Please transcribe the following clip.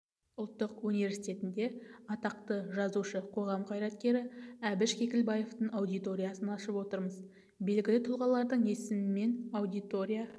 ұлттық университетінде атақты жазушы қоғам қайраткері әбіш кекілбаевтың аудиториясын ашып отырмыз белгілі тұлғалардың есімімен аудитория